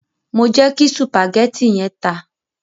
Mo jẹ kí sùpàgétì yẹn ta.